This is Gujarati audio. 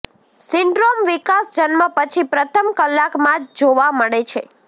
સિન્ડ્રોમ વિકાસ જન્મ પછી પ્રથમ કલાકમાં જ જોવા મળે છે